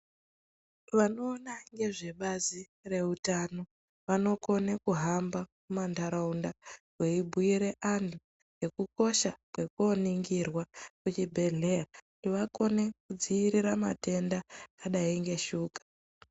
Vanoona ngezvebazi reutano vanokona kuhamba mumanharaunda veibhiira antu ngekukosha kwekuoningirwa kuchibhedhleya kuti vakone kudziirira matenda akadai neshuka.